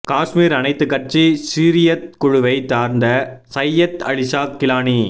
காஷ்மீர் அனைத்து கட்சி ஹுரியத் குழுவை சார்ந்த சையத் அலிஷா கிலானி